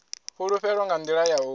fhulufhelo nga nḓila ya u